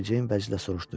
Mericeyn vəclə soruşdu.